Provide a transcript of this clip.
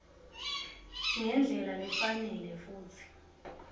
ngendlela lefanele futsi